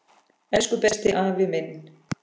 Elsku besti, afi minn.